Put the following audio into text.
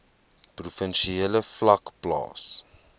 provinsiale vlak plaas